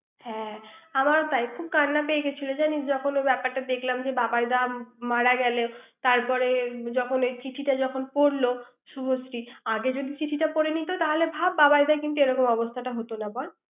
হ্যাঁ আমার তাই খুব কান্না পেয়ে গেছিল জানিস যখন ব্যাপারটা দেখলাম যে বাবাইদা মারা গেল তারপরে ওই যখন চিঠিটা যখন পড়লো শুভশ্রী আগে যদি চিঠিটা পড়ে নিত তাহলে ভাব বাবাইদার এমন অবস্থাটা হতো না বল